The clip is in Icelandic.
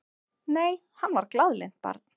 Nei, hann var glaðlynt barn.